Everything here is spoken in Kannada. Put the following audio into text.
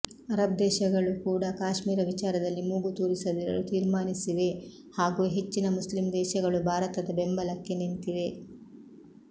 ಅರಬ್ ದೇಶಗಳು ಕೂಡಾ ಕಾಶ್ಮೀರ ವಿಚಾರದಲ್ಲಿ ಮೂಗು ತೂರಿಸದಿರಲು ತೀರ್ಮಾನಿಸಿವೆ ಹಾಗೂ ಹೆಚ್ಚಿನ ಮುಸ್ಲಿಂ ದೇಶಗಳು ಭಾರತದ ಬೆಂಬಲಕ್ಕೆ ನಿಂತಿವೆ